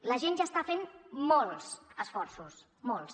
la gent ja està fent molts esforços molts